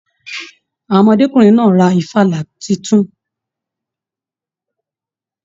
Àwọn ọmọdekùnrin náà rà ìfàlà títún.